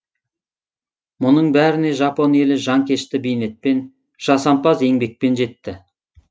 мұның бәріне жапон елі жанкешті бейнетпен жасампаз еңбекпен жетті